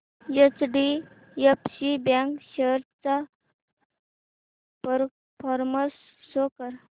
HDFC bank shares चा performance show कर